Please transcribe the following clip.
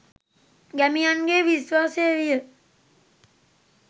ගැමියන්ගේ විශ්වාසය විය